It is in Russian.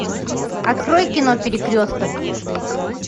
открой кино перекресток